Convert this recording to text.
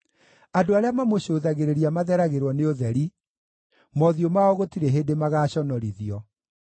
Andũ arĩa mamũcũthagĩrĩria matheragĩrwo nĩ ũtheri; mothiũ mao gũtirĩ hĩndĩ magaaconorithio.